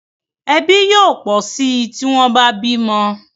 Ẹbí yóò pọ sí tí wón bá bímo